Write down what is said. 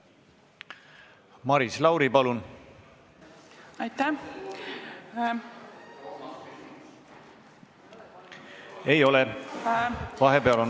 Maris Lauri, palun!